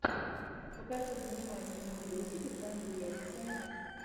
покажи занимательный видосик в жанре лекция